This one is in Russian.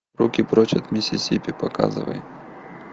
руки прочь от миссисипи показывай